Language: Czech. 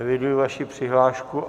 Eviduji vaši přihlášku.